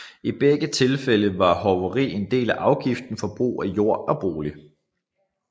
I begge tilfælde var hoveri en del af afgiften for brugen af jord eller bolig